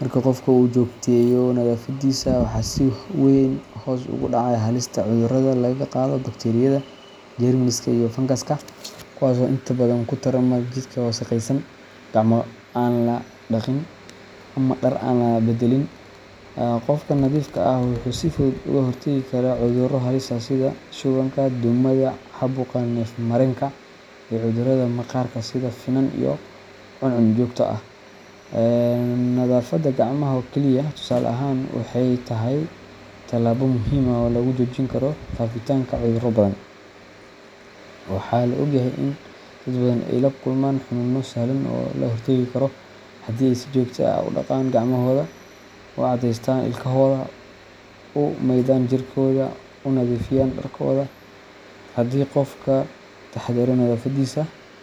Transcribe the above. Marka qofka uu joogteeyo nadaafaddiisa, waxaa si weyn hoos ugu dhacaya halista cudurrada laga qaado bakteeriyada, jeermiska, iyo fangaska, kuwaas oo inta badan ku tarma jidhka wasakhaysan, gacmo aan la dhaqin, ama dhar aan la beddelin. Qofka nadiifka ah wuxuu si fudud uga hortagi karaa cudurro halis ah sida shubanka, duumada, caabuqa neef-mareenka, iyo cudurrada maqaarka sida finan iyo cuncun joogto ah. Nadaafadda gacmaha oo keliya, tusaale ahaan, waxay tahay talaabo muhiim ah oo lagu joojin karo faafitaanka cudurro badan. Waxaa la og yahay in dad badan ay la kulmaan xanuunno sahlan oo laga hortagi karo haddii ay si joogto ah u dhaqaan gacmahooda, u cadaystaan ilkahooda, u maydhaan jirkooda, una nadiifiyaan dharkooda. Haddii qofku ka taxadaro nadaafaddiisa.